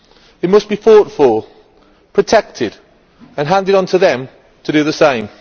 We must be thoughtful, protect it, and hand it on to them to do the same.'